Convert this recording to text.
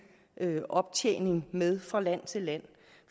optjening med fra land til land